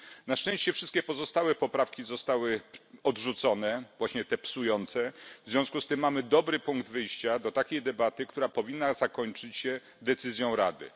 Na szczęście wszystkie pozostałe poprawki zostały odrzucone właśnie te psujące w związku z tym mamy dobry punkt wyjścia do takiej debaty, która powinna zakończyć się decyzją Rady.